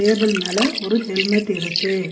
Table மேல ஒரு helmet இருக்கு.